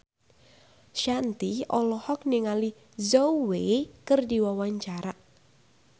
Shanti olohok ningali Zhao Wei keur diwawancara